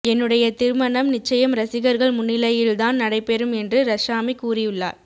என்னுடைய திருமணம் நிச்சயம் ரசிகர்கள் முன்னிலையில் தான் நடைபெறும் என்று ரஷாமி கூறியுள்ளார்